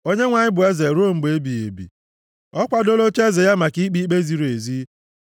Onyenwe anyị bụ eze ruo mgbe ebighị ebi. Ọ kwadoola ocheeze ya maka ikpe ikpe ziri ezi.